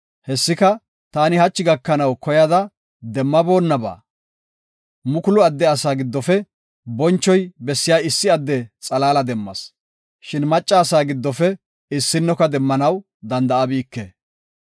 Hessika, taani hachi gakanaw koyada demmaboonnaba. Mukulu adde asa giddofe bonchoy bessiya issi adde xalaala demmas; shin macca asaa giddofe issinnoka demmanaw danda7abike.